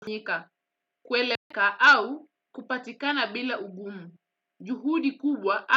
Njika kueleka au kupatikana bila ugumu juhudi kubwa.